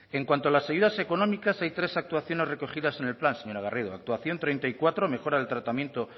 en cuanto a las ayudas económicas hay tres actuaciones recogidas en el plan señora garrido actuación treinta y cuatro mejora del tratamiento